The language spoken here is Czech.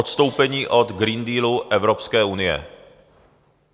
Odstoupení od Green Dealu Evropské unie.